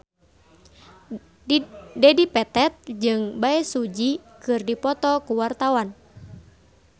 Dedi Petet jeung Bae Su Ji keur dipoto ku wartawan